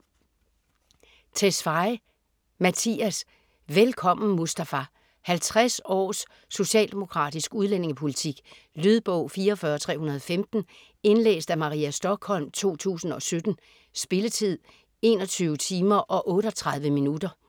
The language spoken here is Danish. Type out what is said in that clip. Tesfaye, Mattias: Velkommen Mustafa 50 års socialdemokratisk udlændingepolitik. Lydbog 44315 Indlæst af Maria Stokholm, 2017. Spilletid: 21 timer, 38 minutter.